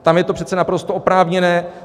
Tam je to přece naprosto oprávněné.